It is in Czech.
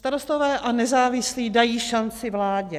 Starostové a nezávislí dají šanci vládě.